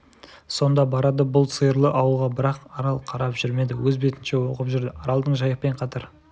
сонда барады бұл сиырлы ауылға бірақ арал қарап жүрмеді өз бетінше оқып жүрді аралдың жайықпен қатар